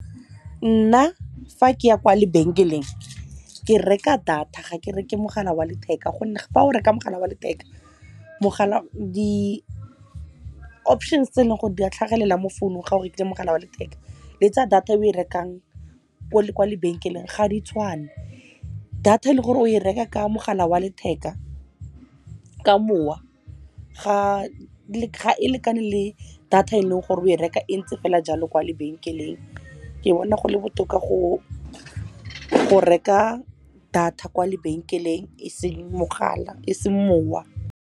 Nna fa ke ya kwa lebenkeleng ke reka data, ga ke reka mogala wa letheka. Gonne fa o reka mogala wa letheka di-options tse e leng gore di a tlhagelela mo founung ga o rekile mogala wa letheka le tsa data eo e rekang kwa lebenkeleng ga di tshwane. Data ele gore o e reka ka mogala wa letheka, ka mowa ga e lekane le data eleng gore o e reka e ntse fela jalo kwa lebenkeleng. Ke bona go le botoka go reka data kwa lebenkeleng e seng mowa.